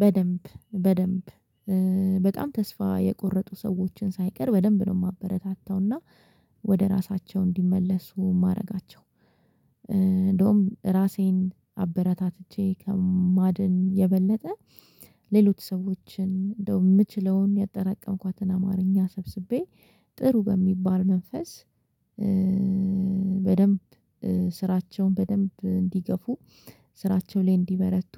በደንብ በደንብ በጣም ተስፋ የቆረጡ ሰዎችን ሳይቀር በደንብ ነው የማበረታታውና ወደ ራሳቸው እንዲመለሱ ማደርጋቸው እንደውም ራሴን አበረታትቼ ከማድን የበለጠ ሌሎች ሰዎችን እንደው የምችለውን ያጠራቀምኳትን አማርኛ ሰብስቤ ጥሩ በሚባል መንፈስ በደንብ ስራቸውን በደንብ እንዲገፉ ስራቸው ላይ እንዲበረቱ